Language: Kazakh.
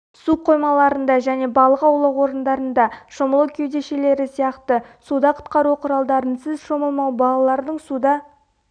су қоймаларында және балық аулау орындарында шомылу кеудешелері сияқты суда құтқару құралдарынсыз шомылмау балалардың суда